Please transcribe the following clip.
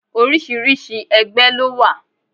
Oríṣiríṣi ẹgbẹ́ ló wà.